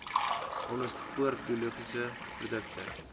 onderstepoort biologiese produkte